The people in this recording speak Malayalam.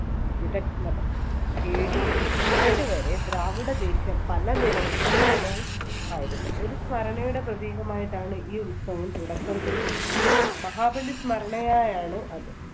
AD എട്ട് വരെ ദ്രാവിഡ ദേശം പല നിലയിൽ സമാനവും ആയിരുന്നു. ഒരു സ്മരണയുടെ പ്രതീകമായിട്ടാണ് ഈ ഉത്സവം തുടക്കം കുറിച്ചത് മഹാബലി സ്മരണയായാണ് അത്.